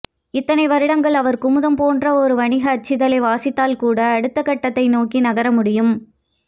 இத்தனை வருடங்கள் அவர் குமுதம் போன்ற ஒரு வணிக அச்சிதழை வாசித்தால்கூட அடுத்தகட்டத்தை நோக்கி நகர முடியும்